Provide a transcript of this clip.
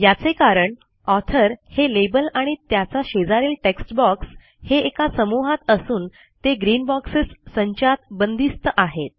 याचे कारण ऑथर हे लेबल आणि त्याचा शेजारील टेक्स्ट बॉक्स हे एका समूहात असून ते ग्रीन बॉक्सेस संचात बंदिस्त आहेत